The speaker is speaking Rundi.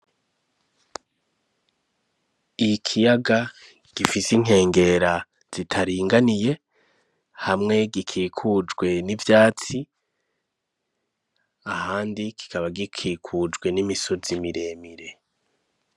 Ikiyaga gifise inkengera zitaringaniye. Hamwe gikikujwe n'ivyatsi ahandi kikaba gikikujwe n'imisozi miremire.